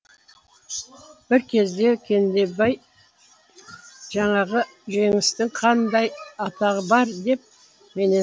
бір кезде кендебай жаңағы жеңістің қандай атағы бар деп менен сұрады